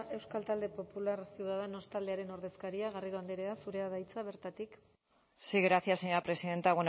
euskal talde popular ciudadanos taldearen ordezkaria garrido andrea zurea da hitza bertatik sí gracias señora presidenta